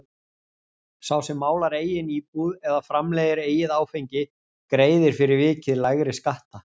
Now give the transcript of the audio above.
Sá sem málar eigin íbúð eða framleiðir eigið áfengi greiðir fyrir vikið lægri skatta.